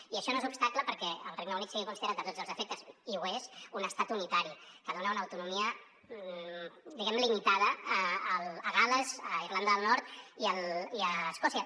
i això no és obstacle perquè el regne unit sigui considerat a tots els efectes i ho és un estat unitari que dona una autonomia diguem ne limitada a gal·les a irlanda del nord i a escòcia